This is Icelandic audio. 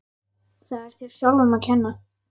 Það er þér sjálfum að kenna.